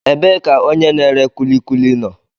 Ebee ka onye na-ere kulikuli nọ?